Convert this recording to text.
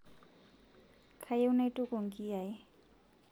kayieu naituku inkiyai